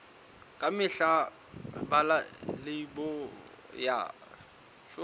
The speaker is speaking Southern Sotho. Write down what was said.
ka mehla bala leibole ya